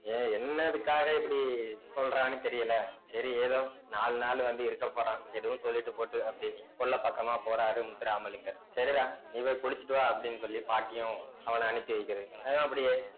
ஏன் என்ன இதுக்காக இப்படி சொல்றான்னு தெரியல சரி ஏதோ நாலு நாள் வந்து இருக்க போறான் எதுவும் சொல்லிட்டு போட்டும் அப்படின்னி கொள்ள பக்கமா போறாரு முத்துராமலிங்கர் சரிடா நீ போய் குளிச்சிட்டு வா அப்படின்னு சொல்லி பாட்டியும் அவனை அனுப்பி வைக்கிது அவனு அப்படியே